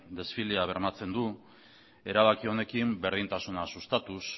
desfilea bermatzen du erabaki honekin berdintasuna sustatuz